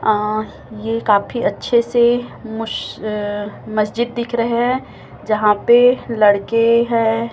अं ये काफी अच्छे से मस मस्जिद दिख रहे हैं जहां पर लड़के हैं।